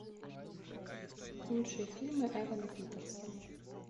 лучшие фильмы эвана питерса